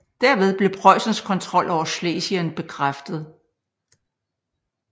Dermed blev Preussens kontrol over Schlesien bekræftet